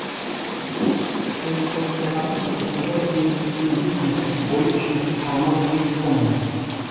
пентоцераптың ұзындығы сегіз бүтін бес метр бойы үш метр салмағы сегіз тонна